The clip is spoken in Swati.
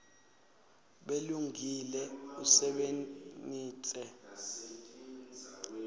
bulungile usebenitse